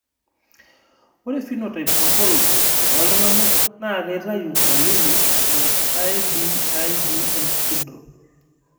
Ore Phenotype Ontology ooltung'anak naa keitayu dalili e IBIDS syndrome.